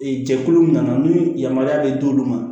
Ee jɛkulu min na ni yamaruya bɛ d'olu ma